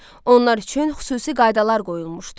Onlar üçün xüsusi qaydalar qoyulmuşdu.